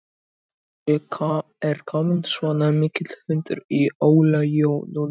Af hverju er kominn svona mikill hundur í Óla Jó núna?